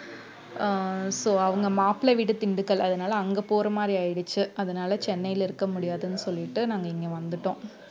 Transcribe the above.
அஹ் so அவங்க மாப்பிளை வீடு திண்டுக்கல் அதனால அங்க போற மாதிரி ஆயிடுச்சு அதனால சென்னைல இருக்க முடியாதுன்னு சொல்லிட்டு நாங்க இங்க வந்துட்டோம்